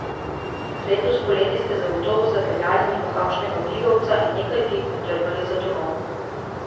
Letos poleti ste zagotovo zapeljali mimo kakšnega figovca in nekaj fig odtrgali za domov.